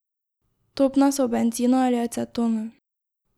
Topna so v bencinu ali acetonu.